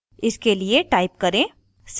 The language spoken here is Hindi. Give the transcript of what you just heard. इसके लिए type करें: